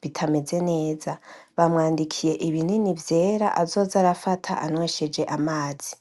bitameze neza, bamwandikiye ibinini vyera azoza arafata anweshej'amazi.